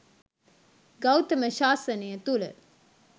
ගෞතම ශාසනය තුළ